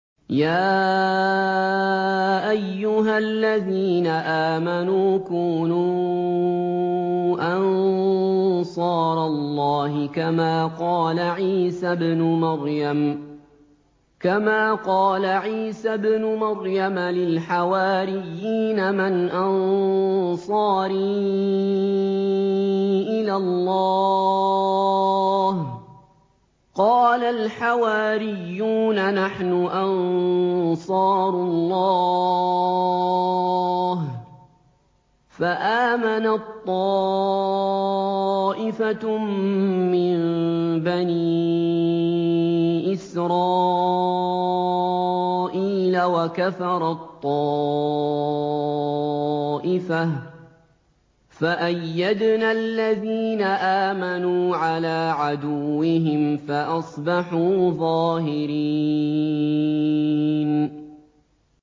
يَا أَيُّهَا الَّذِينَ آمَنُوا كُونُوا أَنصَارَ اللَّهِ كَمَا قَالَ عِيسَى ابْنُ مَرْيَمَ لِلْحَوَارِيِّينَ مَنْ أَنصَارِي إِلَى اللَّهِ ۖ قَالَ الْحَوَارِيُّونَ نَحْنُ أَنصَارُ اللَّهِ ۖ فَآمَنَت طَّائِفَةٌ مِّن بَنِي إِسْرَائِيلَ وَكَفَرَت طَّائِفَةٌ ۖ فَأَيَّدْنَا الَّذِينَ آمَنُوا عَلَىٰ عَدُوِّهِمْ فَأَصْبَحُوا ظَاهِرِينَ